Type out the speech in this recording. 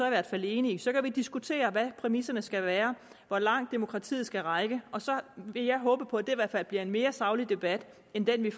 i hvert fald enige så kan vi diskutere hvad præmisserne skal være hvor langt demokratiet skal række og så vil jeg håbe på i hvert fald bliver en mere saglig debat end den vi